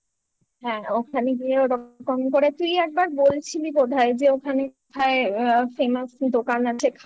হ্যাঁ ওখানে গিয়ে ওরকম করে তুই একবার বলছিলি বোধহয় যে ওখানে কোথায় অ্যা famous দোকান আছে